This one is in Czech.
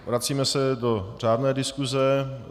Vracíme se do řádné diskuse.